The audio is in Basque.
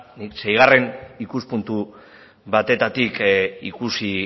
nik seigarren ikuspuntu batetatik ikusi